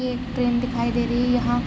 एक ट्रेन दिखाई दे रही है यहाँ।